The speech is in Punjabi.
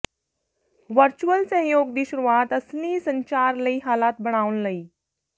ਵਰਚੁਅਲ ਸਹਿਯੋਗ ਦੀ ਸ਼ੁਰੂਆਤ ਅਸਲੀ ਸੰਚਾਰ ਲਈ ਹਾਲਾਤ ਬਣਾਉਣ ਲਈ